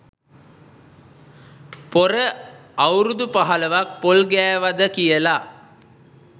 පොර අවුරුදු පහලොවක් පොල් ගෑවද කියලා.